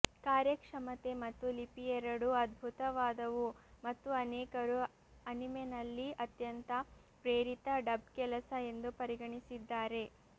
ಕಾರ್ಯಕ್ಷಮತೆ ಮತ್ತು ಲಿಪಿಯೆರಡೂ ಅದ್ಭುತವಾದವು ಮತ್ತು ಅನೇಕರು ಅನಿಮೆನಲ್ಲಿ ಅತ್ಯಂತ ಪ್ರೇರಿತ ಡಬ್ ಕೆಲಸ ಎಂದು ಪರಿಗಣಿಸಿದ್ದಾರೆ